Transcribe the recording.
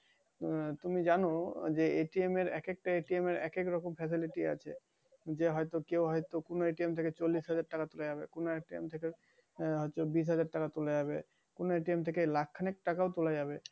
তুমি যান যে এক একটা এর এক এক রকম facility আছে? যে হয়তো কেউ হয়তো কোন কোন থেকে চল্লিশ হাজার তুলা যাবে। কোন একটা থেকে আহ চব্বিশ হাজার টাকা তুলা যাবে, কোন থেকে লাখ খানিক টাকা ও তুলা যাবে।